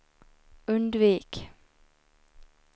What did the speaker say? undvik